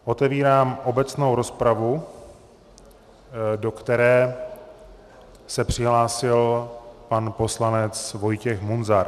Otevírám obecnou rozpravu, do které se přihlásil pan poslanec Vojtěch Munzar.